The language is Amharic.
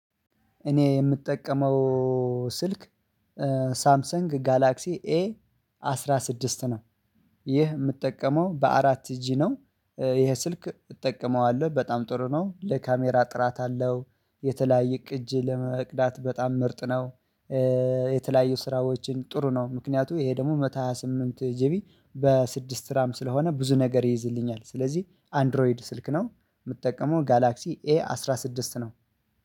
እኔ የምጠቀመው ስልክ ሳምሰንግ ጋላክሲ ኤ አስራ ስድስት ነው። ይህ የምትጠቀመው በአራት ጂ ነው ይሄ ስልክ እጠቀመዋለሁ በጣም ጥሩ ነው ለካሜራ ጥራት አለው የተለያየ ቅጅ ለመቅዳት በጣም ምርጥ ነው። የተለያየ ስራዎችን ጥሩ ነው ምክንያቱም ይሄ ደግሞ መቶ ሃያ ስምንት ጂቢ በስድስት ስራም ስለሆነ ብዙ ነገር ይይዝልኛል። ስለዚህ አንድሮይድ ስልክ ነው። የምትጠቀመው ጋላክሲ ኤ አስራ ስድስት ነው